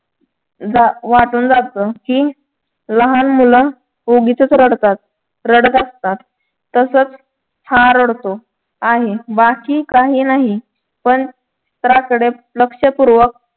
जा वाटून जात कि ही लहान मुलं उगीचच रडतात रडत असतात तसाच हा रडतो आहे बाकी काही नाही पण चित्राकडे लक्षपूर्वक